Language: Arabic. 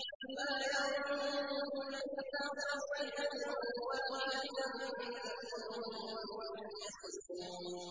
مَا يَنظُرُونَ إِلَّا صَيْحَةً وَاحِدَةً تَأْخُذُهُمْ وَهُمْ يَخِصِّمُونَ